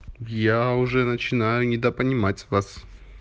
я уже начинаю недопонимать вас